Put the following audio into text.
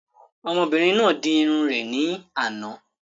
Ọmọbìnrin náà di irun rẹ̀ ní àná